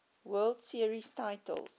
world series titles